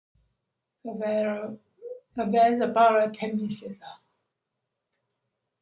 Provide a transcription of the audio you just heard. Það verður bara að temja sér það.